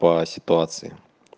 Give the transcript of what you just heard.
по ситуации